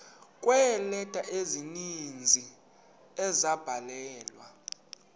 kweeleta ezininzi ezabhalelwa